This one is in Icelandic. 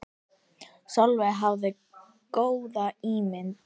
Sólveig hafði svo góða ímynd.